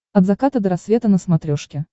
от заката до рассвета на смотрешке